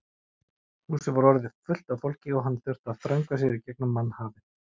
Húsið var orðið fullt af fólki og hann þurfti að þröngva sér í gegnum mannhafið.